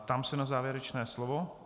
Ptám se na závěrečné slovo.